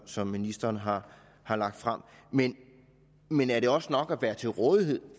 som ministeren har har lagt frem men men er det også nok at være til rådighed